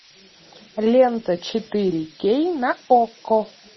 лента четыре кей на окко